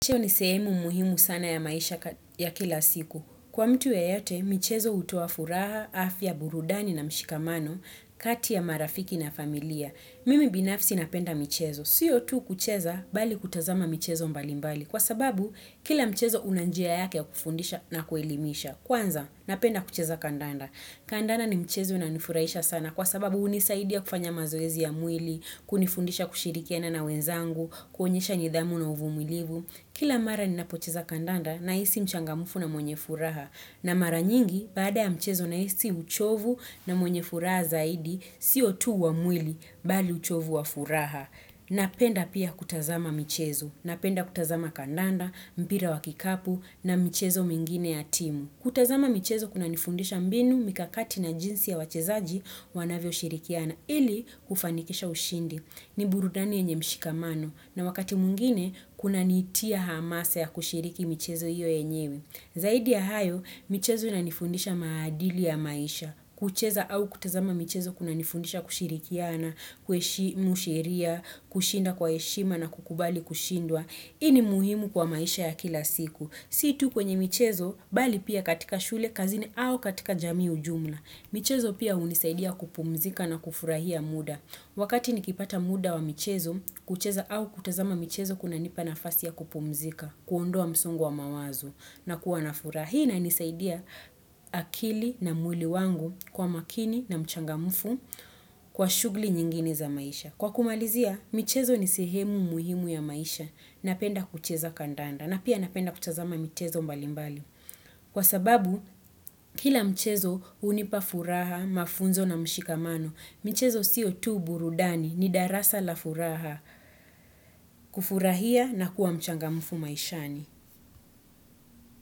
Michezo ni sehemu muhimu sana ya maisha ya kila siku. Kwa mtu yeyote, michezo hutoa furaha, afya, burudani na mshikamano, kati ya marafiki na familia. Mimi binafsi napenda michezo. Siyo tu kucheza, bali kutazama michezo mbali mbali. Kwa sababu, kila mchezo una njia yake ya kufundisha na kuelimisha. Kwanza, napenda kucheza kandanda. Kandanda ni mchezo unanifurahisha sana. Kwa sababu, hunisaidia kufanya mazoezi ya mwili, kunifundisha kushirikiana na wenzangu, kuonyesha nidhamu na uvumilivu. Kila mara ninapocheza kandanda nahisi mchangamufu na mwenye furaha na mara nyingi baada ya mchezo nahisi uchovu na mwenye furaha zaidi si tu wa mwili bali uchovu wa furaha. Napenda pia kutazama michezo, napenda kutazama kandanda, mpira wa kikapu na mchezo mingine ya timu. Kutazama mchezo kuna nifundisha mbinu mikakati na jinsi ya wachezaji wanavyo shirikiana ili kufanikisha ushindi. Ni burudani yenye mshikamano na wakati mwingine kunanitia hamasa ya kushiriki michezo hiyo yenyewe. Zaidi ya hayo, michezo inanifundisha maadili ya maisha. Kucheza au kutazama michezo kuna nifundisha kushirikiana, kueshimu sheria, kushinda kwa heshima na kukubali kushindwa. Hii ni muhimu kwa maisha ya kila siku. Si tu kwenye michezo, bali pia katika shule kazini au katika jami ujumla. Michezo pia unisaidia kupumzika na kufurahia muda. Wakati nikipata muda wa michezo, kucheza au kutazama michezo kunanipa nafasi ya kupumzika, kuondoa msongo wa mawazo na kuwa na furaha. Hii inanisaidia akili na mwili wangu kwa makini na mchangamfu kwa shughuli nyingine za maisha. Kwa kumalizia, michezo ni sihemu muhimu ya maisha. Napenda kucheza kandanda na pia napenda kutazama michezo mbalimbali. Kwa sababu, kila michezo hunipa furaha, mafunzo na mshikamano. Michezo sio tu burudani ni darasa la furaha. Kufurahia na kuwa mchanga mfu maishani.